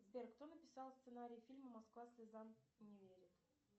сбер кто написал сценарий фильма москва слезам не верит